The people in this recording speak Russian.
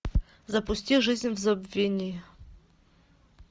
запусти жизнь в забвении